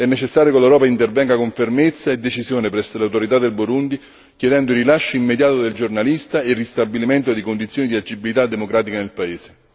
È necessario che l'Europa intervenga con fermezza e decisione presso le autorità del Burundi chiedendo il rilascio immediato del giornalista e il ristabilimento di condizioni di agibilità democratica nel paese.